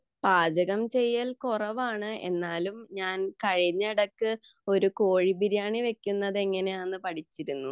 പാചകം ചെയ്യൽ കുറവാണു എന്നാലും ഞാൻ കഴിഞ്ഞിടക്ക് ഞാൻ കോഴി ബിരിയാണി വെക്കുന്നത് എങ്ങനെയാണെന്ന് പഠിച്ചിരുന്നു